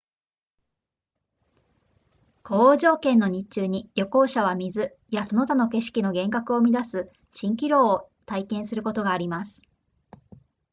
高温条件の日中に旅行者は水やその他の景色の幻覚を生み出す蜃気楼を体験することがあります